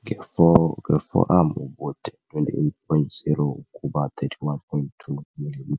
Nge-forearm ubude 28.0 ukuba 31.2 mm,